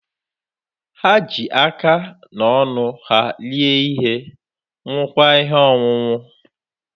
Ha ji aka na ọnụ ha rie ihe, ṅụọkwa ihe ọṅụṅụ.